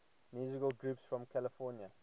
musical groups from california